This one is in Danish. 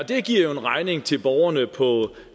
det giver jo en regning til borgerne på